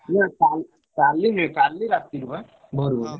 ନା କା କାଲି ନୁହେଁ କାଲି ରାତିରେ ବା ଭୋରୁ ଭୋରୁ।